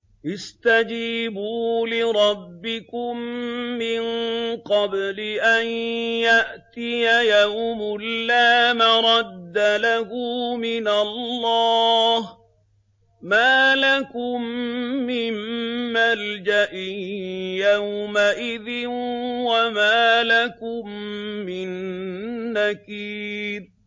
اسْتَجِيبُوا لِرَبِّكُم مِّن قَبْلِ أَن يَأْتِيَ يَوْمٌ لَّا مَرَدَّ لَهُ مِنَ اللَّهِ ۚ مَا لَكُم مِّن مَّلْجَإٍ يَوْمَئِذٍ وَمَا لَكُم مِّن نَّكِيرٍ